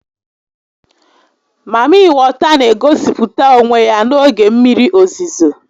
Mami weta n'egosịpụta onwe ya n'oge mmiri ozizo